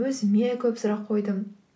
өзіме көп сұрақ қойдым